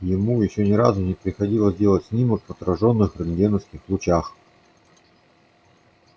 ему ещё ни разу не приходилось делать снимок в отражённых рентгеновских лучах